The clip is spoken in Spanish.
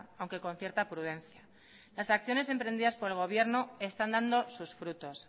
aunque con cierta prudencia las acciones emprendidas por el gobierno están dando sus frutos